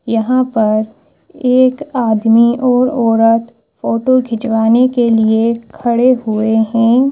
यहां पर एक आदमी और औरत फोटो खिंचवाने के लिए खड़े हुए हैं।